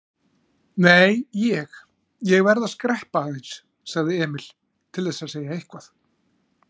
Nei, ég. ég verð að skreppa aðeins, sagði Emil, til þess að segja eitthvað.